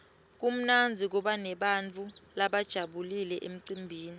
kumnandzi kuba nebantfu labajabulile emcimbini